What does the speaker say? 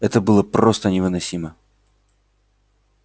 это было просто невыносимо